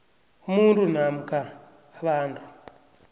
umuntu namkha abantu